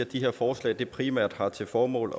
de her forslag primært har til formål